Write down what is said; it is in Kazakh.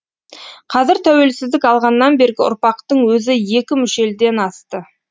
қазір тәуелсіздік алғаннан бергі ұрпақтың өзі екі мүшелден асты